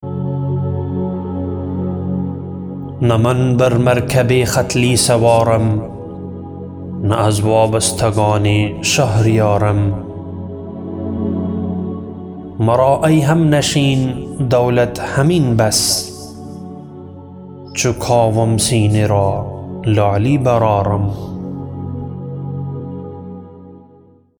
نه من بر مرکب ختلی سوارم نه از وابستگان شهریارم مرا ای همنشین دولت همین بس چوکاوم سینه را لعلی بر آرم